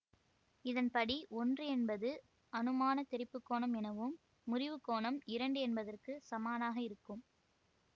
இதன்படி ஒன்று என்பது அனுமானத் தெறிப்பு கோணம் எனவும் முறிவுக் கோணம் இரண்டு என்பதற்குச் சமனாக இருக்கும்